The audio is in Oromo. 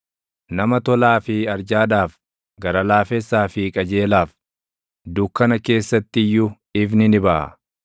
Nama tolaa fi arjaadhaaf, gara laafessaa fi qajeelaaf, // dukkana keessatti iyyuu ifni ni baʼa.